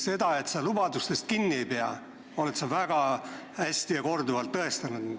Seda, et sa lubadustest kinni ei pea, oled sa väga hästi ja korduvalt tõestanud.